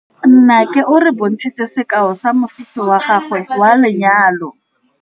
Nnake o re bontshitse sekaô sa mosese wa gagwe wa lenyalo.